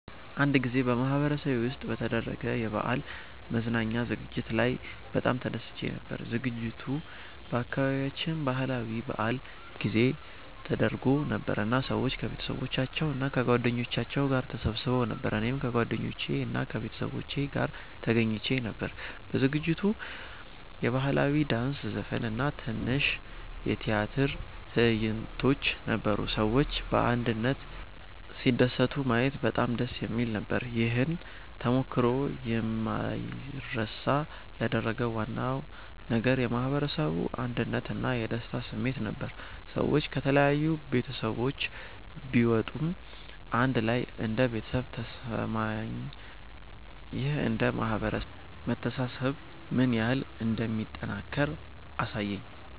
አንድ ጊዜ በማህበረሰቤ ውስጥ በተደረገ የበዓል መዝናኛ ዝግጅት ላይ በጣም ተደስቼ ነበር። ዝግጅቱ በአካባቢያችን ባህላዊ በዓል ጊዜ ተደርጎ ነበር እና ሰዎች ከቤተሰባቸው እና ከጓደኞቻቸው ጋር ተሰብስበው ነበር። እኔም ከጓደኞቼ እና ከቤተሰቤ ጋር ተገኝቼ ነበር። በዝግጅቱ የባህላዊ ዳንስ፣ ዘፈን እና ትንሽ የቲያትር ትዕይንቶች ነበሩ። ሰዎች በአንድነት ሲደሰቱ ማየት በጣም ደስ የሚል ነበር። ይህን ተሞክሮ የማይረሳ ያደረገው ዋና ነገር የማህበረሰቡ አንድነት እና የደስታ ስሜት ነበር። ሰዎች ከተለያዩ ቤተሰቦች ቢመጡም አንድ ላይ እንደ ቤተሰብ ተሰማኝ። ይህ እንደ ማህበረሰብ መተሳሰብ ምን ያህል እንደሚጠናከር አሳየኝ።